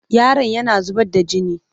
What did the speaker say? Yaron yana zubar da gini.